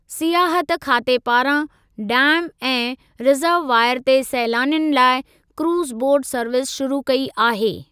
सियाहत खाते पारां डैम ऐं रिज़रववॉइर ते सैलानियुनि लाइ क्रूज़ बोट सर्विस शुरू कई आहे।